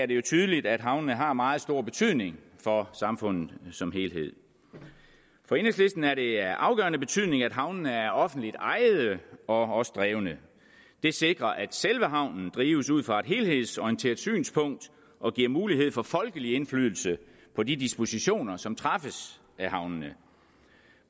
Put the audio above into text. det jo tydeligt at havnene har meget stor betydning for samfundet som helhed for enhedslisten er det af afgørende betydning at havnene er offentligt ejede og også offentligt drevne det sikrer at selve havnen drives ud fra et helhedsorienteret synspunkt og giver mulighed for folkelig indflydelse på de dispositioner som træffes af havnene